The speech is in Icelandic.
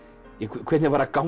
hvernig var að ganga